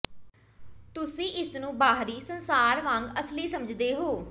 ਤੁਸੀਂ ਇਸ ਨੂੰ ਬਾਹਰੀ ਸੰਸਾਰ ਵਾਂਗ ਅਸਲੀ ਸਮਝਦੇ ਹੋ